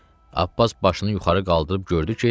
Abbas başını yuxarı qaldırıb gördü ki,